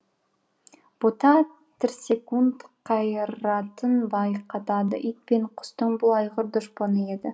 бота тірсекунд қайратын байқатады ит пен құстың бұл айғыр дұшпаны еді